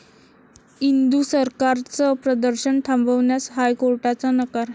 इंदु सरकार'चं प्रदर्शन थांबवण्यास हायकोर्टाचा नकार